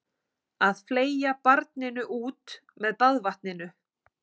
Að fleygja barninu út með baðvatninu